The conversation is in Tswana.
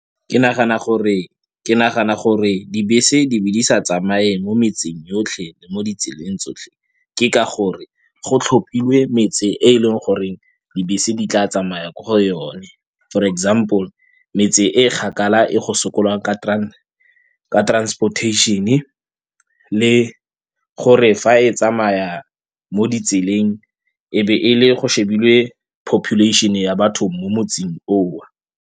Ke nagana gore dibese di be di sa tsamaye mo metseng yotlhe le mo ditseleng tsotlhe ke ka gore go tlhophilwe metse e e leng gore dibese di tla tsamaya ko go yone for example, metse e kgakala e go sokolwang ka transportation-e le gore fa e tsamaya mo ditseleng e be e le go shebilwe population-e ya batho mo motseng o.